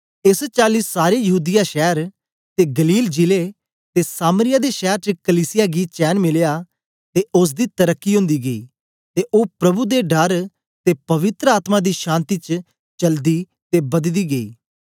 एस चाली सारे यहूदीया शैर ते गलील जिले ते सामरिया दे शैर च कलीसिया गी चैन मिलया ते ओसदी तरकी ओंदी गेई ते ओ प्रभु दे डर ते पवित्र आत्मा दी शान्ति च चलदी ते बददी गेई